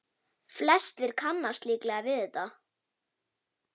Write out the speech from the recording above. Flestir kannast líklega við þetta.